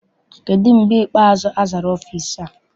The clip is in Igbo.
Kedụ mgbe ikpeazụ azara ọfịịsi a?